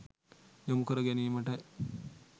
යොමු කර ගැනීමට